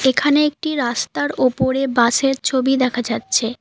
এখানে একটি রাস্তার ওপরে বাস -এর ছবি দেখা যাচ্ছে।